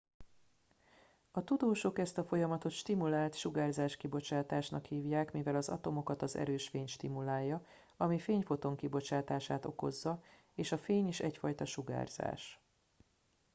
"a tudósok ezt a folyamatot "stimulált sugárzáskibocsátásnak" hívják mivel az atomokat az erős fény stimulálja ami fényfoton kibocsátását okozza és a fény is egyfajta sugárzás.